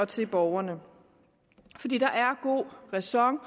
til borgerne er der god ræson